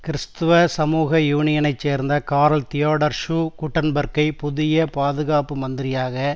கிறிஸ்துவ சமூக யூனியனை சேர்ந்த கார்ல் தியோடர் சூ கூட்டன்பேர்க்கை புதிய பாதுகாப்பு மந்திரியாக